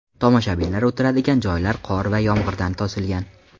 Tomoshabinlar o‘tiradigan joylar qor va yomg‘irdan to‘silgan.